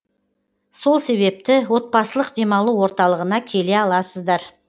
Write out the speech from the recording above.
сол себепті отбасылық демалу орталығына келе аласыздар